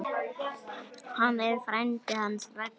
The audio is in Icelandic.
Hann er frændi hans Ragga.